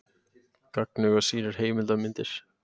Gagnauga sýnir heimildarmyndir